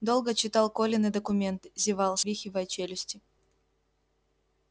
долго читал колины документы зевал свихивая челюсти